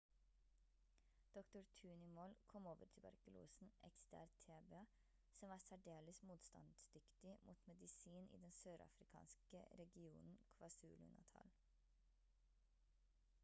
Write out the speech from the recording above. dr. tony moll kom over tuberkulosen xdr-tb som var særdeles motstandsdyktig mot medisin i den sørafrikanske regionen kwazulu-natal